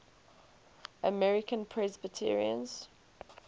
american presbyterians